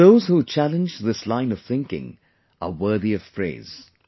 Those who challenge this line of thinking are worthy of praise